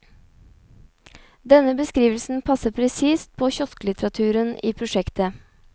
Denne beskrivelsen passer presist på kiosklitteraturen i prosjektet.